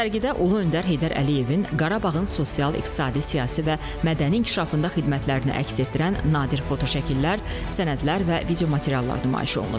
Sərgidə Ulu Öndər Heydər Əliyevin Qarabağın sosial-iqtisadi, siyasi və mədəni inkişafında xidmətlərini əks etdirən nadir fotoşəkillər, sənədlər və videomateriallar nümayiş olunur.